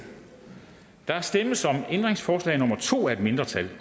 der stemmes om ændringsforslag nummer to af et mindretal